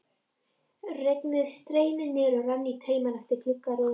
Regnið streymdi niður og rann í taumum eftir gluggarúðunni.